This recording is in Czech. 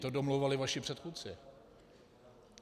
To domlouvali vaši předchůdci.